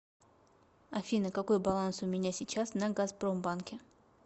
афина какой баланс у меня сейчас на газпромбанке